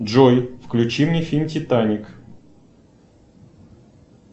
джой включи мне фильм титаник